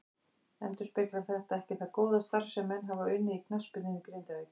Endurspeglar þetta ekki það góða starf sem menn hafa unnið í knattspyrnunni í Grindavík.